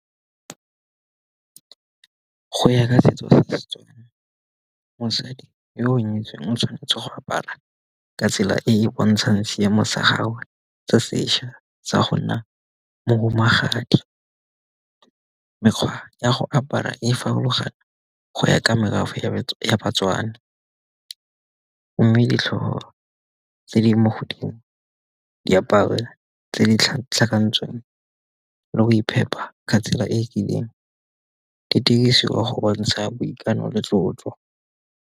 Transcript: Go ya ka setso sa setswana, mosadi yo o nyetsweng o tshwanetse go apara ka tsela e e bontshang seemo sa gagwe se sešwa sa go nna mo bo magadi. Mekgwa ya go apara e farologana go ya ka merafe ya batswana. Mme ditlhopho tse di mo godimo, diaparo tse di tlhakantsweng le go iphepa katsela e rileng, di dirisiwa go bontsha boikanyo le tlotlo.